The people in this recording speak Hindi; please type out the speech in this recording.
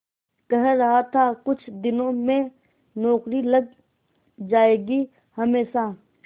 कह रहा था कुछ दिनों में नौकरी लग जाएगी हमेशा